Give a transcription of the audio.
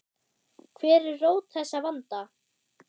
Hver er rót þessa vanda?